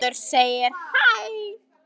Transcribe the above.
Það segir meðal annars